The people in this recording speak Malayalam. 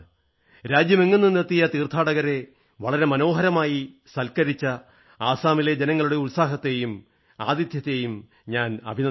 രാജ്യമെങ്ങും നിന്നെത്തിയ തീർഥയാത്രക്കാരെ വളരെ മനോഹരമായി സത്കരിച്ച അസമിലെ ജനങ്ങളുടെ ഉത്സാഹത്തെയും ആതിഥ്യത്തെയും ഞാൻ അഭിനന്ദിക്കുന്നു